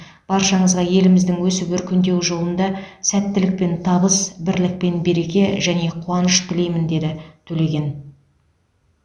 баршаңызға еліміздің өсіп өркендеуі жолында сәттілік пен табыс бірлік пен береке және қуаныш тілеймін деді төлеген